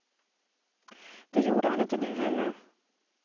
Det gjorde han inte nu heller.